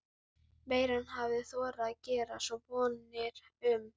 Ekki hlustar Gerður þó eingöngu á sígilda tónlist og óperur.